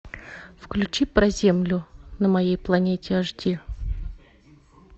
включи про землю на моей планете аш ди